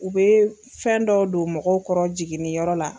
U bɛ fɛn dɔ don mɔgɔw kɔrɔ jiginnin yɔrɔ la.